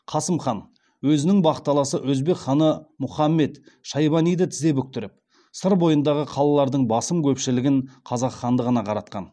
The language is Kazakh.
қасым хан өзінің бақталасы өзбек ханы мухаммед шайбаниді тізе бүктіріп сыр бойындағы қалалардың басым көпшілігін қазақ хандығына қаратқан